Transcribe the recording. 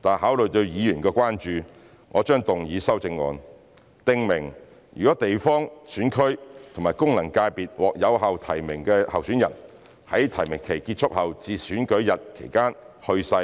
但考慮到議員的關注，我將動議修正案，訂明如地方選區及功能界別獲有效提名的候選人在提名期結束後至選舉日期間去世